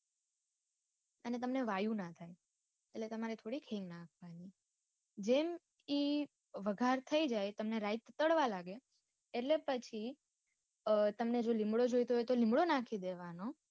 અને તમને વાયુ ના થાય એટલે તમારે થોડી હિંગ નાખવાની જેમ ઈ વગાર થઇ જાય તમે રાઈ ટાળવા લાગે એટલે પછી તમને જો લીમડો જોઈએતો હોય તો લીમડો નાખી દેવાનો.